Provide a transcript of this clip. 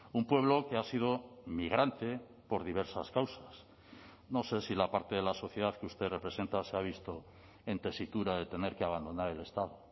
un pueblo que ha sido migrante por diversas causas no sé si la parte de la sociedad que usted representa se ha visto en tesitura de tener que abandonar el estado